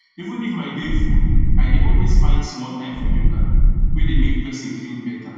even if my day full i dey always find small time for yoga wey dey make person feel better